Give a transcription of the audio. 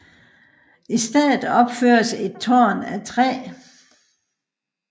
I stedet opføres et tårn af træ